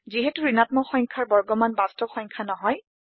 যিহেটো ঋণাত্মক সংখ্যাৰ বৰ্গমান বাস্তব সংখ্যা নহয়